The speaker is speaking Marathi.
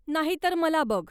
नाही तर मला बघ!